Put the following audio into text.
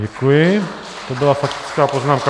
Děkuji, to byla faktická poznámka.